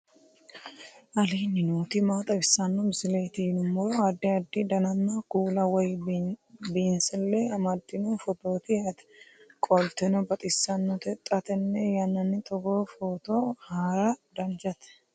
aleenni nooti maa xawisanno misileeti yinummoro addi addi dananna kuula woy biinsille amaddino footooti yaate qoltenno baxissannote xa tenne yannanni togoo footo haara danvchate